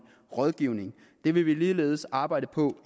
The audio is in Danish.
rådgivning det vil vi ligeledes arbejde på